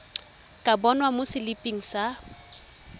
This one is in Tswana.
ka bonwa mo seliping sa